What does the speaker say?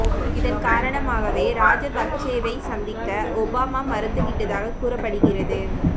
இதன் காரணமாகவே ராஜபக்சேவை சந்திக்க ஒபாமா மறுத்து விட்டதாக கூறப்படுகிறது